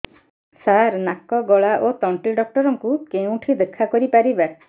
ସାର ନାକ ଗଳା ଓ ତଣ୍ଟି ଡକ୍ଟର ଙ୍କୁ କେଉଁଠି ଦେଖା କରିପାରିବା